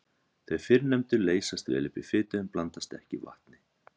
Þau fyrrnefndu leysast vel upp í fitu en blandast ekki vatni.